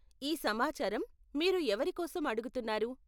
ఈ సమాచారం మీరు ఎవరి కోసం అడుగుతున్నారు?